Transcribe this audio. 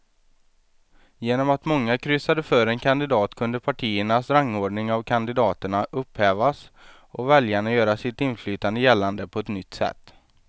Genom att många kryssade för en kandidat kunde partiernas rangordning av kandidaterna upphävas och väljarna göra sitt inflytande gällande på ett nytt sätt.